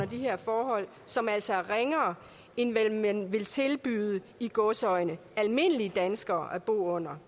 de her forhold som altså er ringere end hvad man ville tilbyde i gåseøjne almindelige danskere at bo under